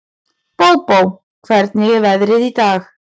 Bóbó, hvernig er veðrið í dag?